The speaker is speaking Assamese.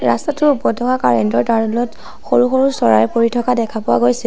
ৰাস্তাটোৰ ওপৰত থকা কাৰেণ্ট ৰ তাঁৰ ডালত সৰু সৰু চৰাই পৰি থকা দেখা পোৱা গৈছে।